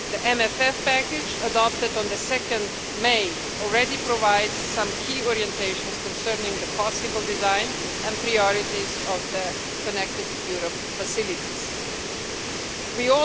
The MFF package adopted on 2 May already provides some key orientations concerning the possible design and priorities of the Connecting Europe Facility We